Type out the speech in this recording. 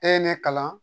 E ye ne kalan